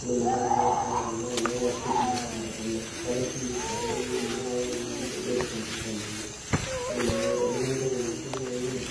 Indim ake atuuno siininye kuna ningoru [c's] siblings naa ekuna. Eetae siininye tekuna indim ake ayau ninkilikuanu nipik oltinga lino. Indim ake teniyieu ninteru ena siai naa iun.